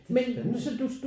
Det er spændende